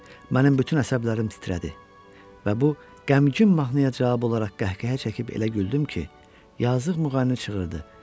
Mənim bütün əsəblərim titrədi və bu qəmgin mahnıya cavab olaraq qəhqəhə çəkib elə güldüm ki, yazıq müğənni çığırdı.